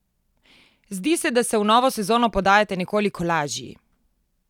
Zdi se, da se v novo sezono podajate nekoliko lažji?